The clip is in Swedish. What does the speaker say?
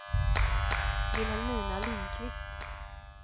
Vilhelmina Lindquist